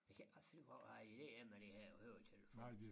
Jeg kan ikke finde ud af hvad idéen er med de her høretelefoner